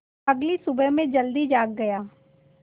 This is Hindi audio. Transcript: अगली सुबह मैं जल्दी जाग गया